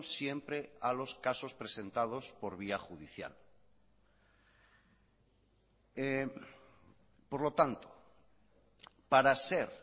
siempre a los casos presentados por vía judicial por lo tanto para ser